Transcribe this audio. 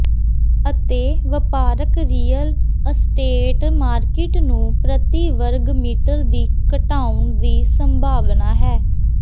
ਅਤੇ ਵਪਾਰਕ real estate market ਨੂੰ ਪ੍ਰਤੀ ਵਰਗ ਮੀਟਰ ਦੀ ਘਟਾਉਣ ਦੀ ਸੰਭਾਵਨਾ ਹੈ